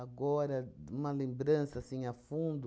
uma lembrança, assim, a fundo.